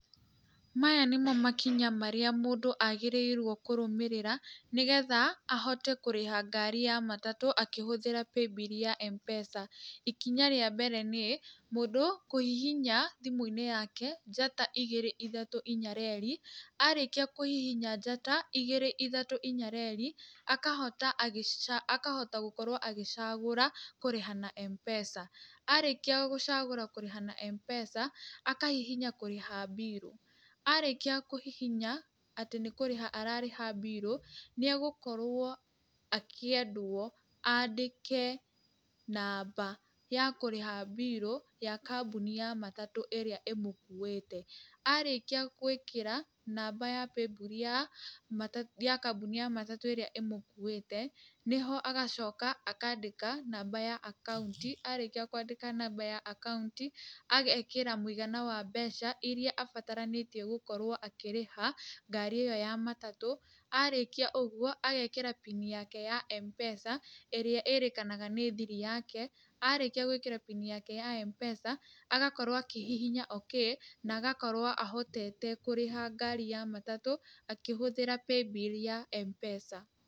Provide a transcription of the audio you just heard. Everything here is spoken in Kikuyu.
Maya nĩmo makinya marĩa mũndũ agĩrĩirwo kũrũmĩrĩra, nĩ getha ahote kũrĩha ngari ya matatũ akĩhũthĩra paybill ya Mpesa. Ikinya rĩa mbere nĩ mũndũ kũhihinya thimũ-inĩ yake, njata igĩrĩ ithatũ inya reri, arĩkia kũhihinya njata igĩrĩ ithatũ inya reri, akahota kũgorwo agĩcagũra kũrĩha na Mpesa, arĩkia gũcagũra kũrĩha na Mpesa, akahihinya kũrĩha mbirũ. Arĩkia kũhihinya atĩ nĩ kũrĩha ararĩha mbirũ nĩ egũkorwo akĩendwo andĩke namba ya kũrĩha mbirũ ya kambuni ya matatũ ĩrĩa ĩmukuĩte. Arĩkia gũĩkĩra namba ya paybill ya kambuni ya matatũ ĩrĩa ĩmũkuĩte, nĩho agacoka akaandĩka namba ya akaũnti, arĩkia kwandĩka namba ya akaũnti, agekĩra mũigana wa mbeca iria abataranĩtio gũkorwo akĩrĩha ngari ĩyo ya matatũ, arĩkia ũguo agekĩra pin yake ya Mpesa ĩrĩa ĩrĩkanaga nĩ thiri yake, arĩkia gũĩkĩra pin yake ya Mpesa, agakorwo akĩhihinya okay na agakorwo ahotete kũrĩha ngari ya matatũ akĩhũthĩra paybill ya Mpesa.